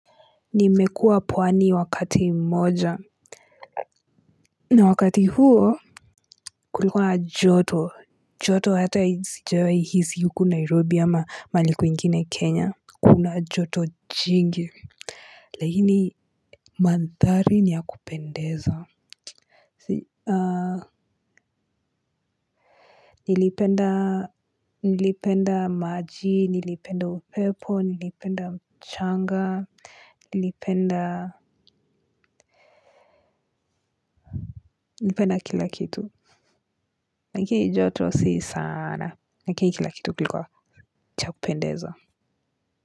Nimekuwa pwani wakati mmoja na wakati huo kulikuwa joto joto hata hii sijawahi hisi huku nairobi ama mahali kwingine kenya kuna joto jingi lakini mandhari ni ya kupendeza ah nilipenda maji nilipenda upepo nilipenda mchanga nilipenda kila kitu. Lakini joto si saana lakini kila kitu kilikuwa cha kupendeza.